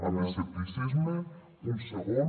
amb escepticisme un segon